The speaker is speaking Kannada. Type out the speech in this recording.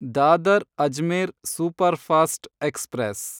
Dadar Ajmer superfast express